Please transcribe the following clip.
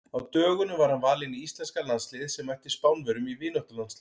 Á dögunum var hann valinn í íslenska landsliðið sem mætti Spánverjum í vináttulandsleik.